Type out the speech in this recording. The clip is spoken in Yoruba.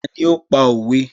Ta ní ó pa òwe?